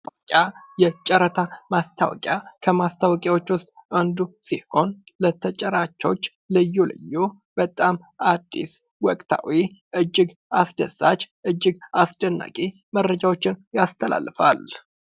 ማስታወቂያ የጨረታ ማስታወቂያ፡- ከማስታወቂያዎች ውስጥ አንዱ ሲሆን ፤ ለተጫራቾች ልዩ ልዩ በጣም አዲስ ወቅታዊ እጅግ አስደሳች፥ እጅግ አስደናቂ፥ መረጃዎችን ያስተላልፋል።